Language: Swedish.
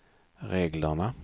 reglerna